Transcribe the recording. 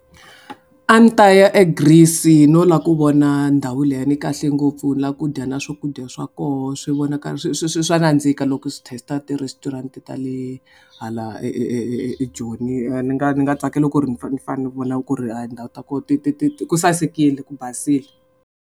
A ndzi ta ya eGreece no lava ku vona ndhawu leyi ni kahle ngopfu na ku dya na swakudya swa koho swi vonaka swi swi swi swa nandzika loko swi test-a ti-restaurant ta le hala ka e e e e eJoni ni nga ni nga tsakela ku ri ni ni fane ni vona ku ri a tindhawu ta koho ti ti ti ti ku sasekile ku basile.